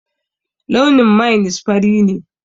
Launin mainis fari ne